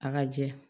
A ka jɛ